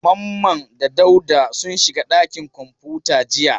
Mamman da Dauda sun shiga ɗakin kwamfuta jiya.